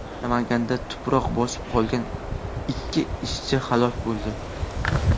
Namanganda tuproq bosib qolgan ikki ishchi halok bo‘ldi.